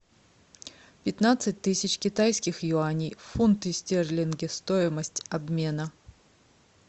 пятнадцать тысяч китайских юаней в фунты стерлинги стоимость обмена